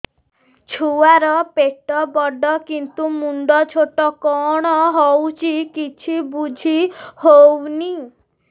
ଛୁଆର ପେଟବଡ଼ କିନ୍ତୁ ମୁଣ୍ଡ ଛୋଟ କଣ ହଉଚି କିଛି ଵୁଝିହୋଉନି